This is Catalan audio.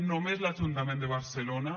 només l’ajuntament de barcelona